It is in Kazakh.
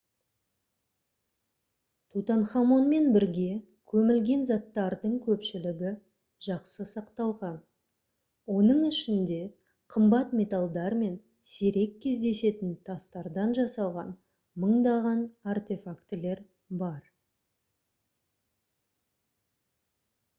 тутанхамонмен бірге көмілген заттардың көпшілігі жақсы сақталған оның ішінде қымбат металдар мен сирек кездесетін тастардан жасалған мыңдаған артефактілер бар